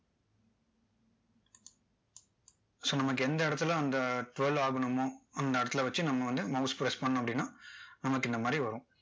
so நமக்கு எந்த இடத்துல அந்த twirl ஆகணுமோ அந்த இடத்துல வச்சு நம்ம mouse press பண்ணோம் அப்படின்னா